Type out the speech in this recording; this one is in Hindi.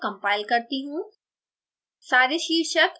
अब एक बार फिर compile करती हूँ